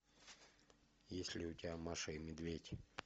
есть ли у тебя маша и медведь